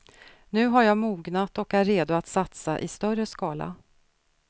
Nu har jag mognat och är redo att satsa i större skala.